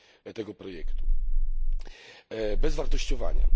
tego projektu bez wartościowania.